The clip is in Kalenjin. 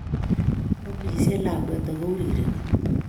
Amishe lakwet ago urereni